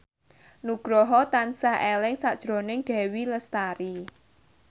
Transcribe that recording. Nugroho tansah eling sakjroning Dewi Lestari